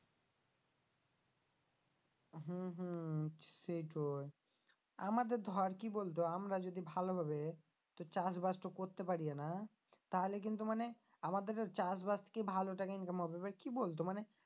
হম হম সেইটোই আমাদের ধর কি বলতো আমরা যদি ভালো ভাবে তোর চাষবাস টো করতে পারি না তাহলে কিন্তু মানে আমাদের চাষবাস থেকে ভালো টাকা income হবে এবার কি বলতো মানে